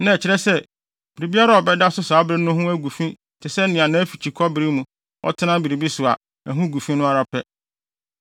na ɛkyerɛ sɛ, biribiara a ɔbɛda so saa bere no ho agu fi te sɛ nea nʼafikyikɔ bere mu ɔtena biribi so a, ɛho gu fi no ara pɛ.